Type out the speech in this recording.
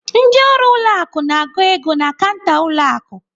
Ndị ọrụ ụlọ akụ na-agụ ego na kanta ụlọ akụ.